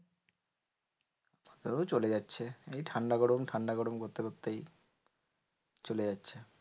ও চলে যাচ্ছে এই ঠান্ডা গরম ঠান্ডা গরম করতে করতেই চলে যাচ্ছে।